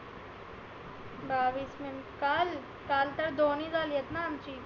बाविस मी काल काल तर दोन्ही झालिएत ना आमची.